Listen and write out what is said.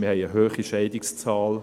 Wir haben eine hohe Scheidungszahl.